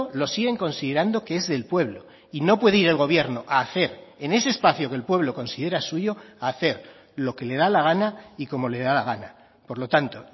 lo siguen considerando que es el pueblo y no puede ir el gobierno a hacer en ese espacio que el pueblo considera suyo a hacer lo que le da la gana y como le da la gana por lo tanto